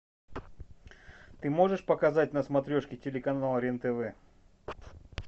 ты можешь показать на смотрешке телеканал рен тв